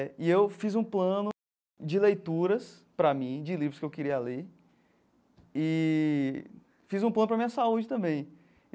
E eu fiz um plano de leituras para mim, de livros que eu queria ler, eee fiz um plano para a minha saúde também.